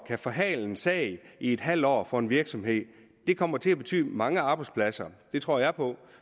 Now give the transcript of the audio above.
forhale en sag i et halvt år for en virksomhed det kommer til at betyde mange arbejdspladser det tror jeg på